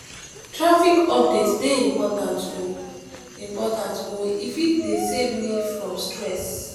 traffic update dey important o important o e fit dey save me from stress.